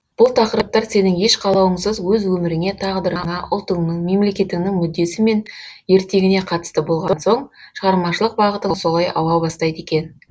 бұл тақырыптар сенің еш қалауыңсыз өз өміріңе тағдырыңа ұлтыңның мемлекетіңнің мүддесі мен ертеңіне қатысты болған соң шығармашылық бағытың солай ауа бастайды екен